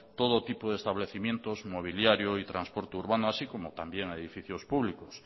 todo tipo de establecimientos mobiliario y transporte urbano así como también edificios públicos